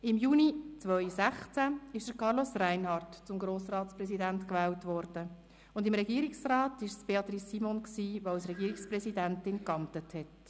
Im Juni 2016 wurde Carlos Reinhard zum Grossratspräsidenten gewählt, und im Regierungsrat war es Beatrice Simon, die als Regierungspräsidentin amtete.